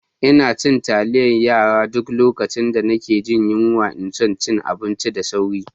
Ina cin taliyar yara a duk lokacin da nake jin yunwa ina son cin abu da sauri.